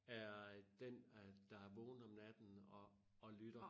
Er øh den øh der er vågen om natten og og lytter